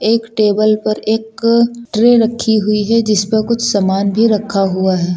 एक टेबल पर एक ट्रे रखी हुई है जिस पर कुछ सामान भी रखा हुआ है।